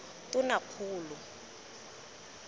tonakgolo